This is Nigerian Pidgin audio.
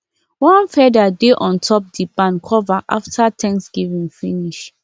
one feather dey on top the barn cover after thanksgiving finish